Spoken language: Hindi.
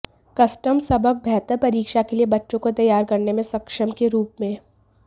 कस्टम सबक बेहतर परीक्षा के लिए बच्चों को तैयार करने में सक्षम के रूप में